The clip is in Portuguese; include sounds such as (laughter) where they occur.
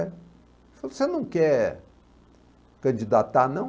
(unintelligible) Ele falou, você não quer candidatar não?